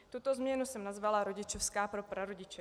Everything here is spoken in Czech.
Tuto změnu jsem nazvala rodičovská pro prarodiče.